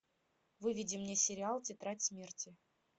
выведи мне сериал тетрадь смерти